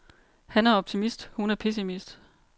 Han er optimist, hun er pessimist.